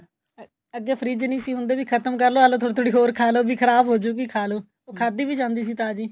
ਆ ਅੱਗੇ ਫਰਿਜ਼ ਨਹੀ ਸੀ ਹੁੰਦੇ ਵੀ ਖਤਮ ਕਰਲੋ ਆਲੋ ਥੋੜੀ ਥੋੜੀ ਹੋਰ ਖਾਲੋ ਵੀ ਖ਼ਰਾਬ ਹੋਜੂਗੀ ਖਾਲੋ ਉਹ ਖਾਦੀ ਵੀ ਜਾਂਦੀ ਸੀ ਤਾਜ਼ੀ